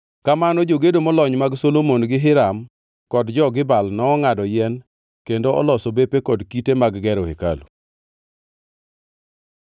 Kamano jogedo molony mag Solomon gi Hiram kod jo-Gibal nongʼado yien kendo oloso bepe kod kite mag gero hekalu.